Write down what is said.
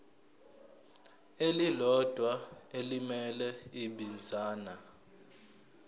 elilodwa elimele ibinzana